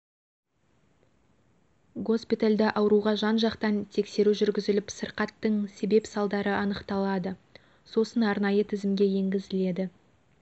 госпитальда ауырға жан-жақтан тексеру жүргізіліп сырқаттың себеп-салдары анықталады сосын арнайы тізімге енгізіледі